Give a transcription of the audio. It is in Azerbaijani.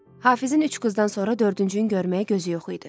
Hafizin üç qızdan sonra dördüncünü görməyə gözü yox idi.